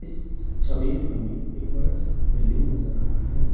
छवि में हमें एक बड़ा सा बिल्डिंग नजर आ रहा है।